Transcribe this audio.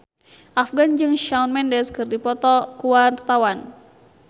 Afgan jeung Shawn Mendes keur dipoto ku wartawan